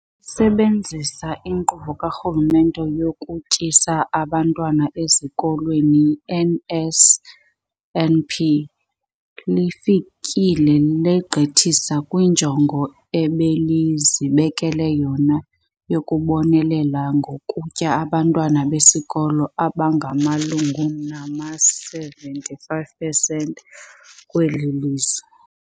Sebenzisa iNkqubo kaRhulumente yokuTyisa Abantwana Ezikolweni, i-NSNP, lifike legqithisa kwinjongo ebelizibekele yona yokubonelela ngokutya abantwana besikolo abamalunga nama-75 percent kweli lizwe.